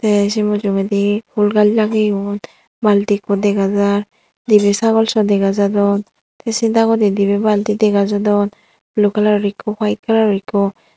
tey se mujungedi fhool gaj lageyun balti ekku dega jar dibey sagol saw dega jadon tey se dagodi dibey balti dega jadon blue colour or ekku white colour or ekku.